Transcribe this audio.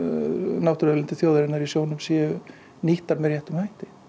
náttúruauðlindir þjóðarinnar í sjó séu nýttar með réttum hætti